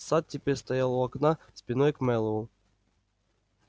сатт теперь стоял у окна спиной к мэллоу